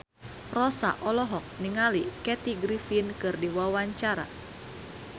Rossa olohok ningali Kathy Griffin keur diwawancara